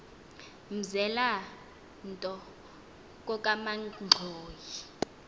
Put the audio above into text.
mzela nto kokamanxhoyi